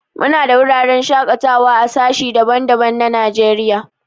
Mu na da wuraren shakatawa a sashi daban-daban na Najeriya.